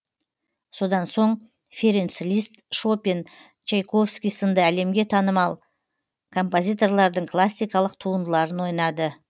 содан соң ференц лист шопен чайковский сынды әлемге танымал композиторлардың классикалық туындыларын ойнады